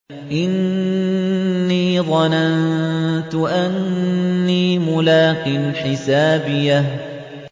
إِنِّي ظَنَنتُ أَنِّي مُلَاقٍ حِسَابِيَهْ